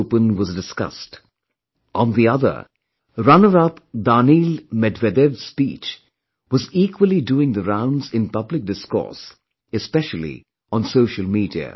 open was discussed; on the other, runner up Daniil Medvedev's speech was equally doing the rounds in public discourse, especially on social media